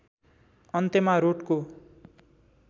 अन्यमा रोटको